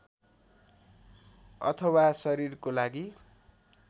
अथवा शरीरको लागि